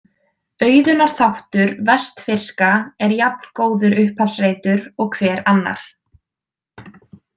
Auðunar þáttur vestfirska er jafngóður upphafsreitur og hver annar.